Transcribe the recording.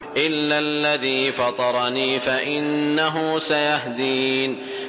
إِلَّا الَّذِي فَطَرَنِي فَإِنَّهُ سَيَهْدِينِ